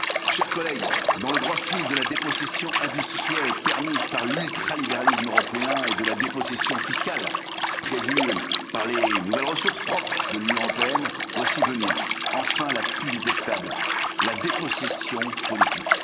Chers collègues, dans le droit fil de la dépossession industrielle permise par l'ultralibéralisme européen et de la dépossession fiscale prévue par les nouvelles ressources propres de l'Union européenne, voici venir enfin la plus détestable dépossession la dépossession politique.